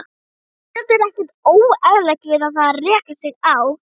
Auðvitað er ekkert óeðlilegt við það að reka sig á.